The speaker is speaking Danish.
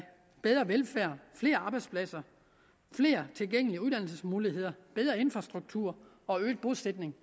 bedre velfærd flere arbejdspladser flere tilgængelige uddannelsesmuligheder bedre infrastruktur og øget bosætning